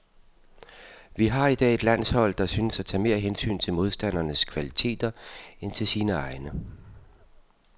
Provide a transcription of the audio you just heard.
Vi har i dag et landshold, der synes at tage mere hensyn til modstandernes kvaliteter end til sine egne.